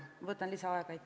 Ma võtan lisaaega.